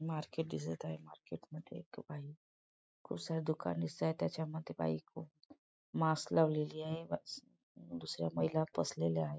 Market दिसत आहे market मध्ये एक बाई खूप साऱ्या दुकान दिसताए त्याच्या मध्ये बाई खूप मास्क लावलेली आहे दुसऱ्या महिला बसलेल्या आहेत.